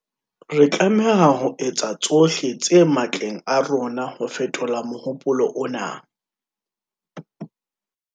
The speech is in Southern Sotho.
Re tlameha ho etsa tsohle tse matleng a rona ho fetola mohopolo ona.